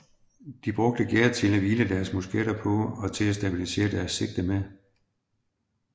De brugte gærdet til at hvile deres musketter på og til at stabilisere deres sigte med